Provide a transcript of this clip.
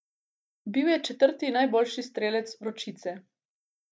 Bil je četrti najboljši strelec Vročice.